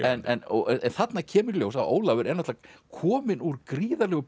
en þarna kemur í ljós að Ólafur er náttúrulega kominn úr gríðarlegu